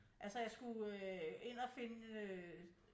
Altså jeg skulle øh ind og finde øh